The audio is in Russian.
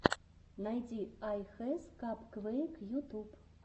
найди ай хэс капквэйк ютуб